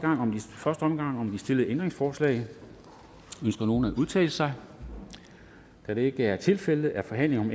omgang om de stillede ændringsforslag ønsker nogen at udtale sig da det ikke er tilfældet er forhandlingen